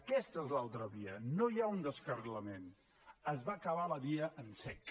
aquesta és l’altra via no hi ha un descarrilament es va acabar la via en sec